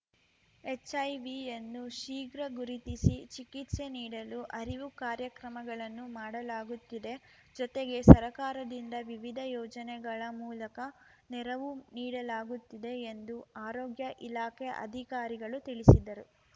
ಎಚ್‌ಐವಿಯನ್ನು ಶೀಘ್ರ ಗುರುತಿಸಿ ಚಿಕಿತ್ಸೆ ನೀಡಲು ಅರಿವು ಕಾರ್ಯಕ್ರಮಗಳನ್ನು ಮಾಡಲಾಗುತ್ತಿದೆ ಜತೆಗೆ ಸರಕಾರದಿಂದ ವಿವಿಧ ಯೋಜನೆಗಳ ಮೂಲಕ ನೆರವು ನೀಡಲಾಗುತ್ತಿದೆ ಎಂದು ಆರೋಗ್ಯ ಇಲಾಖೆ ಅಧಿಕಾರಿಗಳು ತಿಳಿಸಿದರು